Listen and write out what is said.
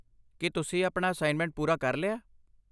ਕੀ ਤੁਸੀਂ ਆਪਣਾ ਅਸਾਇਨਮੈਂਟ ਪੂਰਾ ਕਰ ਲਿਆ?